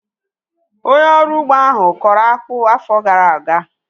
Onye ọrụ ugbo ahu kọrọ akpụ afọ gara aga